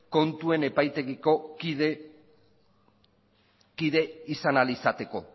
kontuen epaitegiko kide izan ahal izateko